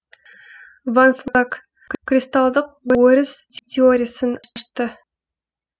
ван флек кристалдық өріс теориясын ашты